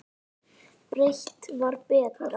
Breitt var betra.